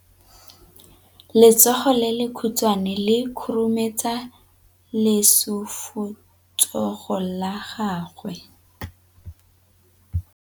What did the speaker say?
Letsogo le lekhutshwane le khurumetsa lesufutsogo la gago.